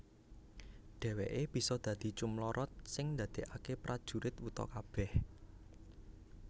Dheweké bisa dadi cumlorot sing ndadekaké prajurit wuta kabeh